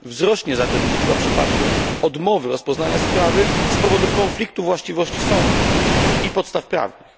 Wzrośnie zatem liczba przypadków odmowy rozpoznania sprawy z powodu konfliktu właściwości sądów i podstaw prawnych.